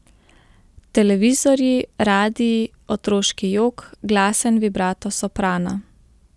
Televizorji, radii, otroški jok, glasen vibrato soprana.